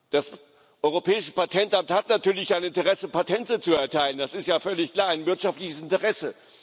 Das Europäische Patentamt hat natürlich ein Interesse daran, Patente zu erteilen das ist ja völlig klar ein wirtschaftliches Interesse.